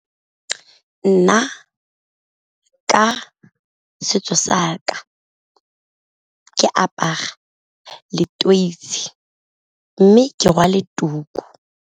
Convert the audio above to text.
Nna ka setso sa ka ke apara leteisi mme ke rwale tuku.